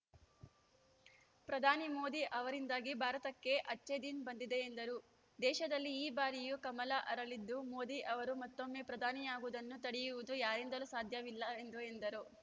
ಪ್ರಧಾನಿ ಮೋದಿ ಅವರಿಂದಾಗಿ ಭಾರತಕ್ಕೆ ಅಚ್ಚೆ ದಿನ್‌ ಬಂದಿದೆ ಎಂದರು ದೇಶದಲ್ಲಿ ಈ ಬಾರಿಯೂ ಕಮಲ ಅರಳಿದ್ದು ಮೋದಿ ಅವರು ಮತ್ತೊಮ್ಮೆ ಪ್ರಧಾನಿಯಾಗುವುದನ್ನು ತಡೆಯುವುದು ಯಾರಿಂದಲೂ ಸಾಧ್ಯವಿಲ್ಲ ಎಂದರು